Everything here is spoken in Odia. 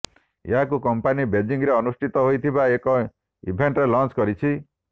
ଏହାକୁ କମ୍ପାନୀ ବେଜିଂରେ ଅନୁଷ୍ଠିତ ହୋଇଥିବା ଏକ ଇଭେଣ୍ଟରେ ଲଞ୍ଚ କରିଛି